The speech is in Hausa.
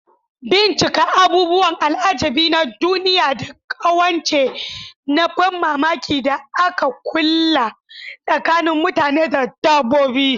Bincika abubuwan al'ajabi na duniya da ƙawance na ban mamaki da aka kulla tsakanin mutane da dabbobi.